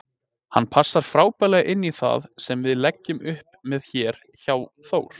Hann passar frábærlega inní það sem við leggjum upp með hér hjá Þór.